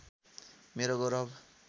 मेरो गौरव